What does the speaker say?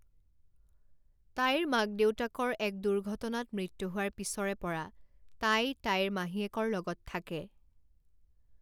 তাইৰ মাক দেউতাকৰ এক দুৰ্ঘটনাত মৃত্যু হোৱাৰ পিছৰে পৰা তাই তাইৰ মাহীয়েকৰ লগত থাকে।